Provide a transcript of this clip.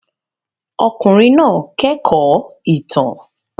Ọkùnrin náà kẹ́kọ̀ọ́ ìtàn.